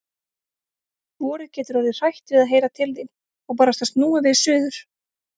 Vorið getur orðið hrætt við að heyra til þín. og barasta snúið við suður.